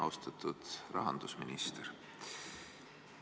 Austatud rahandusminister!